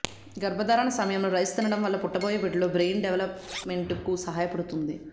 గర్భధారణ సమయంలో రైస్ తినడం వల్ల పుట్టబోయే బిడ్డలో బ్రెయిన్ డెవలప్ మెంట్ కు సహాయపడుతుంది